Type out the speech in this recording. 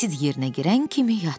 Sid yerinə girən kimi yatdı.